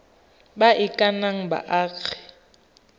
ba e ka nnang baagi